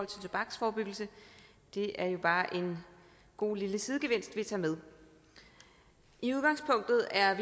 tobaksforebyggelse det er jo bare en god lille sidegevinst vi tager med i udgangspunktet er